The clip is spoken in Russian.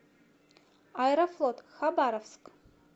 аэрофлот хабаровск